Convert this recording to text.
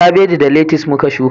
Kabeji da letis muka shuka